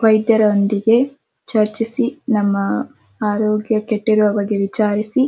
ವೈದ್ಯರ ಒಟ್ಟಿಗೆ ಚರ್ಚಿಸಿನಮ್ಮ ಅರೋಗ್ಯ ಕೆತ್ತಿರೋ ಬಗ್ಗೆ ವಿಚಾರಿಸಿ.